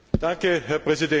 Herr Präsident!